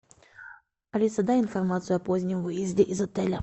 алиса дай информацию о позднем выезде из отеля